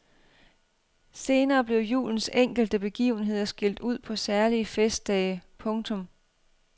Senere blev julens enkelte begivenheder skilt ud på særlige festdage. punktum